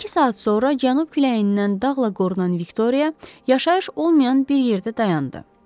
İki saat sonra cənub küləyindən dağla qorunan Viktoriya yaşayış olmayan bir yerdə dayandı.